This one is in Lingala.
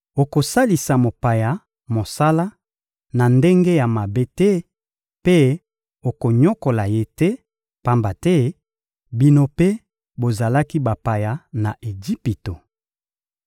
Okosalisa mopaya mosala na ndenge ya mabe te mpe okonyokola ye te, pamba te bino mpe bozalaki bapaya na Ejipito.